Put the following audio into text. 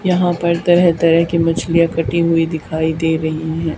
यहां पर तरह तरह की मछलियां कटी हुईं दिखाई दे रहीं हैं।